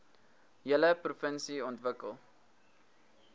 hele provinsie ontwikkel